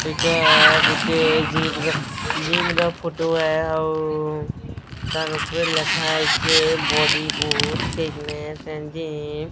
ଏଇଟା ଗୋଟେ ଯିପ୍ ର ଯିମ୍ ଫୋଟୋ ହେ ଆଉ ତାର ଉପରେ ଲେଖା ହେଇଛି body booth fitness and gym.